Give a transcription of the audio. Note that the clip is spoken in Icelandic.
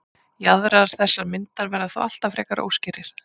jaðrar þessarar myndar verða þó alltaf frekar óskýrir